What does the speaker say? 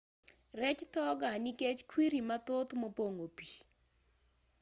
rech tho gaa nikech kwiri mathoth mopong'o pii